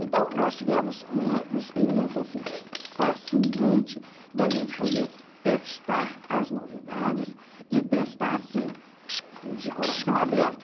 Então, nós tivemos uma experiência assim, fascinante, da gente poder testar as novidades e testar assim, de coração aberto.